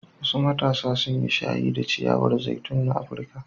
Wasu matasa sun yi shayi da ciyawar zaitun na Afirka.